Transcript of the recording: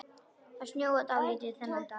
Það snjóaði dálítið þennan dag.